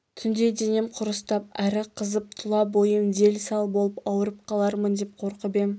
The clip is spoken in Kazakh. түнде денем құрыстап әрі қызып тұла бойым дел-сал болып ауырып қалармын деп қорқып ем